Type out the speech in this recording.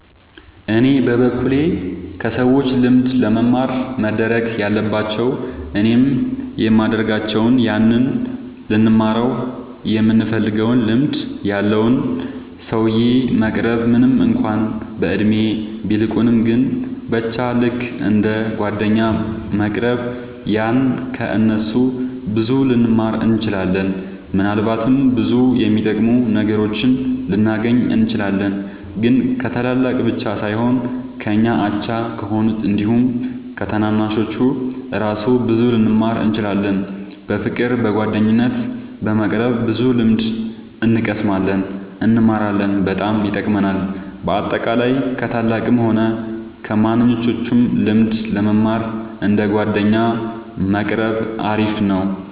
እኔ በበኩሌ ከሰዎች ልምድ ለመማር መደረግ ያለባቸው እኔም የሚደርጋቸው ያንን ልንማረው ይምንፈልገውን ልምድ ያለውን ሰውዬ መቅረብ ምንም እንኳን በእድሜ ቢልቁንም ግን በቻ ልክ እንደ ጓደኛ መቅረብ ያኔ ከ እነሱ ብዙ ልንማር እንችላለን። ምናልባትም ብዙ የሚጠቅሙ ነገሮችን ልናገኝ እንችላለን። ግን ከታላላቅ ብቻ ሳይሆን ከኛ አቻ ከሆኑት አንዲሁም ከታናናሾቹ እራሱ ብዙ ልንማር እንችላለን። በፍቅር በጓደኝነት በመቅረብ ብዙ ልምድ እንቀስማለን እንማራለን በጣም ይጠቅማል። በአጠቃላይ ከ ታላላቅም ሆነ ከማንኞቹም ልምድ ለመማር እንደ ጓደኛ መቆረብ አሪፍ ነው